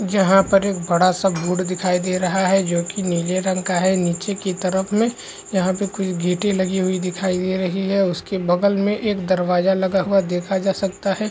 जहाँ पर एक बड़ा-सा बोर्ड दिखाई दे रहा है जो की नीले रंग का है नीचे के तरफ में यहाँ पे कुछ गेटे लगी हुई दिखाई दे रही है उसके बगल में एक दरवाज़ा लगा हुआ देखा जा सकता है।